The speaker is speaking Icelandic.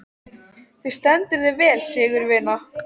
Þú stendur þig vel, Sigurvina!